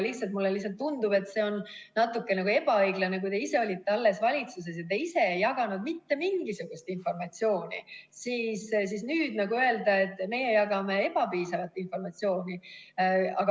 Lihtsalt mulle tundub, et see on natuke ebaõiglane, kui te ise alles valitsuses olles ei jaganud mitte mingisugust informatsiooni, ja nüüd ütlete, et meie jagame ebapiisavalt informatsiooni.